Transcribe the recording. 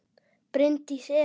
Bryndís Eva.